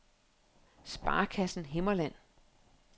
Sparekassen Himmerland